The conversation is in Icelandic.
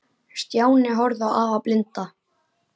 Stjáni horfði á afa blinda.